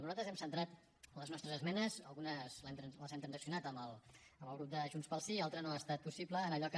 però nosaltres hem centrat les nostres esmenes algunes les hem transaccionades amb el grup de junts pel sí i altres no ha estat possible en allò que